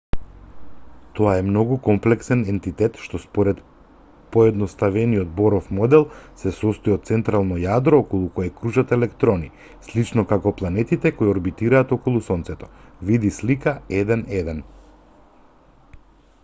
тоа е многу комплексен ентитет што според поедноставениот боров модел се состои од централно јадро околу кое кружат електорни слично како планетите кои орбитираат околу сонцето види слика 1.1